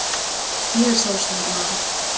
Ég er sjálfstæður maður.